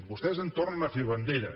vostès en tornen a fer bandera